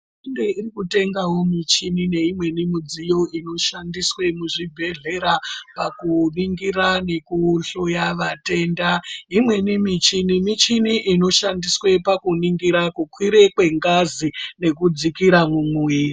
Inge iri kutengawo michini neimweni midziyo inoshandiswe muzvibhedhlera pakuningira nekuhloya vatenda ,imweni michini michini inoshandiswe pakuningira kukwire kwengazi nekudzikira mumwiri .